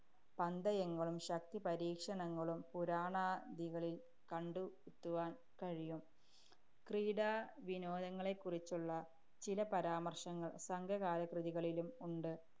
പന്തയങ്ങളും, ശക്തിപരീക്ഷണങ്ങളും പുരാണ ദികളില്‍ കണ്ടെത്തുവാന്‍ കഴിയും. ക്രീഡാ വിനോദങ്ങളെക്കുറിച്ചുള്ള ചില പരാമര്‍ശങ്ങള്‍ സംഘകാല കൃതികളിലും ഉണ്ട്.